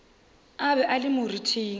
a be a le moriting